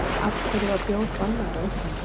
Af hverju var bjór bannaður á Íslandi?